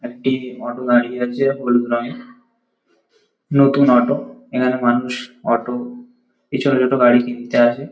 একটি অটো দাঁড়িয়ে আছে হলুদ রঙের। নতুন অটো এনার মানুষ অটো পিছনে দুটো গাড়ি কিনতে আসে।